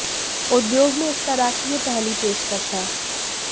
उद्योग में इस तरह की यह पहली पेशकश है